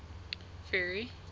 ferry